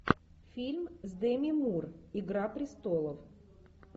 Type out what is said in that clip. фильм с дэми мур игра престолов